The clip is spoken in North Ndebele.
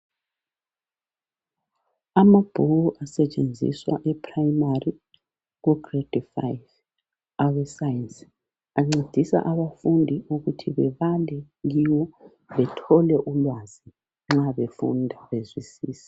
Ama book asetshenziswa e Primary ku grade five awe Science. Ancedisa abafundi ukuthi bebambe kiwo bethole ulwazi nxa befunda bezwisise.